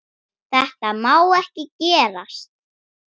Þetta má ekki gerast.